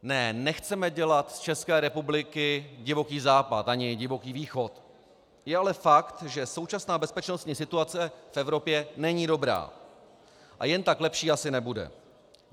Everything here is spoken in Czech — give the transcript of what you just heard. Ne, nechceme dělat z České republiky Divoký západ, ani Divoký východ, je ale fakt, že současná bezpečnostní situace v Evropě není dobrá a jen tak lepší asi nebude.